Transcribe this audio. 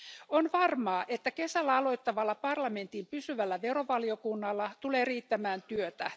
On varmaa, että kesällä aloittavalla parlamentin pysyvällä verovaliokunnalla tulee riittämään työtä.